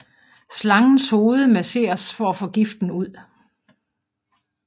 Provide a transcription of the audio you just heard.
Slangens hoved masseres for at få giften ud